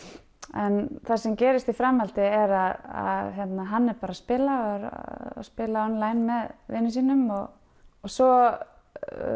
en það sem gerist í framhaldi er að hann er bara að spila er að spila online með vinum sínum svo